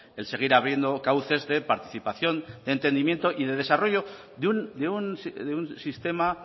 el seguir abriendo cauces de participación de entendimiento y de desarrollo de un sistema